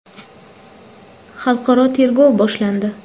Xalqaro tergov boshlandi.